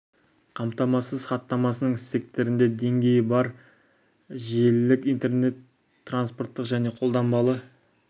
қамтамасыз хаттамасының стектерінде деңгей бар желілік интернет транспорттық және қолданбалы